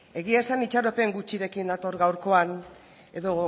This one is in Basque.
egia esan itxaropen gutxirekin nator gaurkoan edo